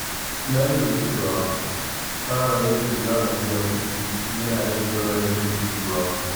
Na lura cewa tsara yadda za a biya kuɗi yana rage yawan rashin jituwa.